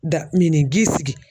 Dan minnin ji sigi